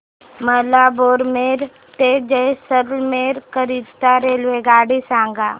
मला बारमेर ते जैसलमेर करीता रेल्वेगाडी सांगा